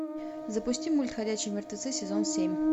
запусти мульт ходячие мертвецы сезон семь